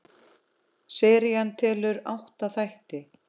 Serían telur átta þætti.